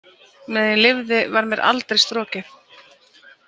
Meðan ég lifði var mér aldrei strokið.